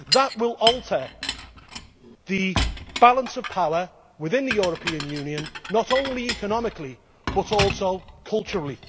That will alter the balance of power within the European Union, not only economically, but also culturally.